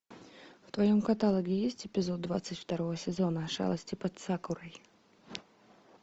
в твоем каталоге есть эпизод двадцать второго сезона шалости под сакурой